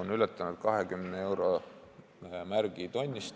on ületanud 20 euro piiri.